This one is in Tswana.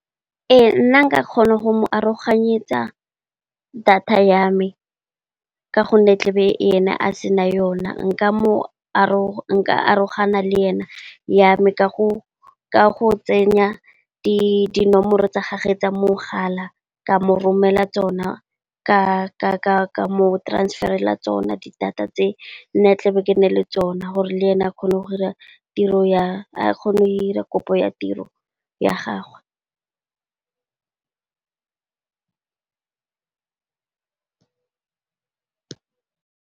Ee nna nka kgona go mo aroganyetsa data ya me ka gonne, tla be ene a sena yona nka aroganya le ena ya me, ka go tsenya dinomoro tsa gagwe tsa mogala ka mo romela tsona, ka mo transferela tsona di data tse nna tla be ke na le tsona gore le ene a kgone go dira kopo ya tiro ya gagwe.